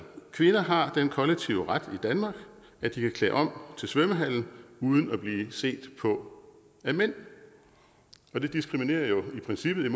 kvinder har den kollektive ret i danmark at de kan klæde om til svømmehallen uden at blive set på af mænd og det diskriminerer jo i princippet